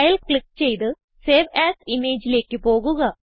file click ചെയ്ത് save A S Imageലേക്ക് പോകുക